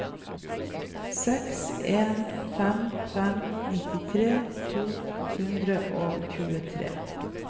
seks en fem fem nittitre to hundre og tjuetre